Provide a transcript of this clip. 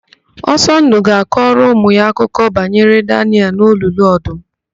Osọndụ ga-akọrọ ụmụ ya akụkọ banyere Danịel n'olulu ọdụm.